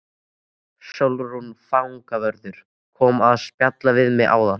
Sólrún fangavörður kom að spjalla við mig áðan.